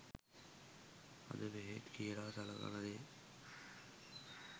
අද බෙහෙත් කියල සලකන දේ